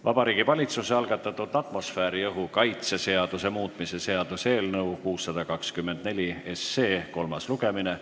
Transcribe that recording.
Vabariigi Valitsuse algatatud atmosfääriõhu kaitse seaduse muutmise seaduse eelnõu 624 kolmas lugemine.